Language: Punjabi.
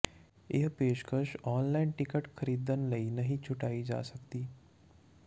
ਇਹ ਪੇਸ਼ਕਸ਼ ਆਨਲਾਈਨ ਟਿਕਟ ਖਰੀਦਣ ਲਈ ਨਹੀਂ ਛੁਟਾਈ ਜਾ ਸਕਦੀ